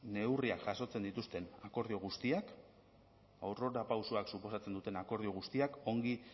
neurriak jasotzen dituzten akordio guztiak aurrerapausoak suposatzen duten akordio guztiak ongi